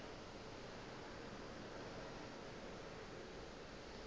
ga ke sa nyaka go